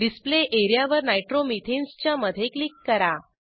display एरियावर nitromethanes च्या मधे क्लिक करा